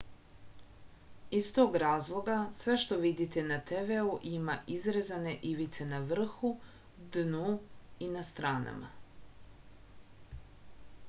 iz tog razloga sve što vidite na tv-u ima izrezane ivice na vrhu dnu i na stranama